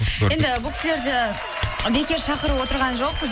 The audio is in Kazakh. енді бұл кісілерді бекер шақырып отырған жоқпыз